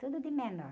Tudo de menor.